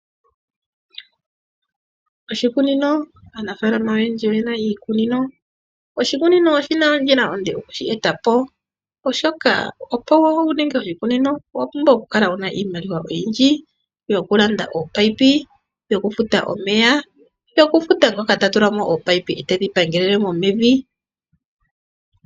Oshikunino, aanafaalama oyendji oyena iikunino, oshikunino oshina ondjila onde okushi etapo , oshoka opo wuninge oshikunino owapumbwa okukala wuna iimaliwa oyindji, yokulanda opipe, yokufuta omeya, yokufuta ngoka tatulamo oopipe e tedhi pangelelemo mevi.